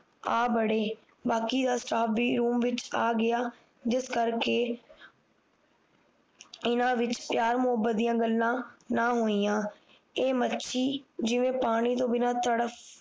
ਆ ਵੜੇ ਬਾਕੀ ਦਾ ਸਟਾਫ ਵੀ ਰੂਮ ਵਿੱਚ ਆ ਗਿਆ ਜਿਸ ਕਰਕੇ ਇਨ੍ਹਾਂ ਵਿੱਚ ਪਿਆਰ ਮੋਹਬਤ ਦੀਆਂ ਗੱਲਾਂ ਨਾ ਹੋਈਆਂ ਇਹ ਮੱਛੀ ਜਿਵੇਂ ਪਾਣੀ ਤੋਂ ਬਿਨਾਂ ਤੜਫ